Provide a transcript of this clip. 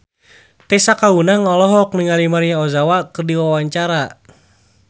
Tessa Kaunang olohok ningali Maria Ozawa keur diwawancara